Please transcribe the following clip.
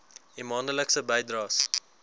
u maandelikse bydraes